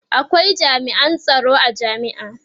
akwai jami'an tsaron a jami'a